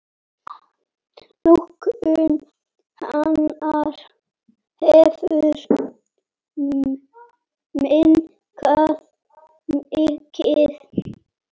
Notkun hennar hefur minnkað mikið.